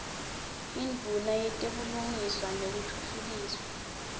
yindvuna yetebulungiswa nekutfutfukiswa